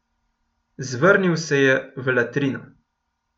Zvrnil se je v latrino.